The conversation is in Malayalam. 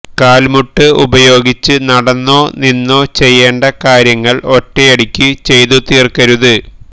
കാല്മുട്ട് ഉപയോഗിച്ച് നടന്നോ നിന്നോ ചെയ്യേണ്ട കാര്യങ്ങള് ഒറ്റയടിക്കു ചെയ്തു തീര്ക്കരുത്